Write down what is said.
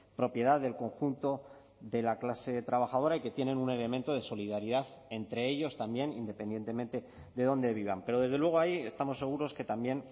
propiedad del conjunto de la clase trabajadora y que tienen un elemento de solidaridad entre ellos también independientemente de dónde vivan pero desde luego ahí estamos seguros que también